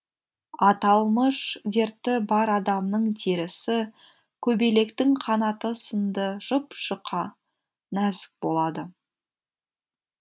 аталмыш дерті бар адамның терісі көбелектің қанаты сынды жұп жұқа нәзік болады